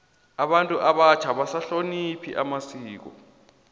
abantu abatjha abasahlonophi amasiko